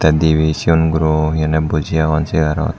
debay segone gurow he honay boji aagon chareot.